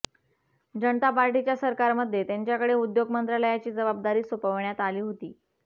जनता पार्टीच्या सरकारमध्ये त्यांच्याकडे उद्योग मंत्रालयाची जबाबदारी सोपवण्यात आली होती